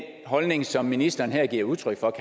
holdning som ministeren her giver udtryk for